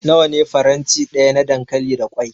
Nawa ne faranti daya na dankali da kwai?